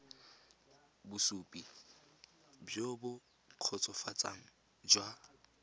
bosupi jo bo kgotsofatsang jwa